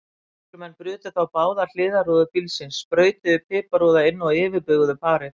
Lögreglumenn brutu þá báðar hliðarrúður bílsins, sprautuðu piparúða inn og yfirbuguðu parið.